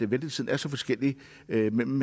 ventetiden er så forskellig mellem